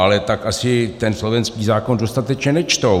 Ale tak asi ten slovenský zákon dostatečně nečtou.